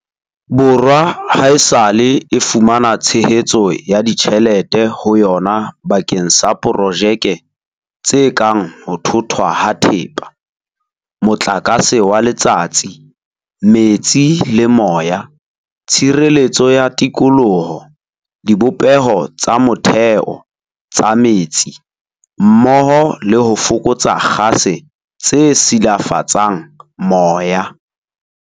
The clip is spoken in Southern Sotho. Borwa haesale e fumana tshehetso ya ditjhe lete ho yona bakeng sa projeke tse kang ho thothwa ha thepa, motlakase wa letsatsi, metsi le moya, tshireletso ya tikoloho, dibopeho tsa motheo tsa metsi mmoho le ho fokotsa kgase tse silafatsang moya.